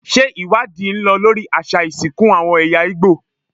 Ṣé ìwádìí ń lọ lórí àṣà ìsìnkú àwọn ẹ̀yà Ìgbò?